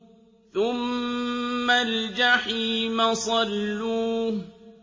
ثُمَّ الْجَحِيمَ صَلُّوهُ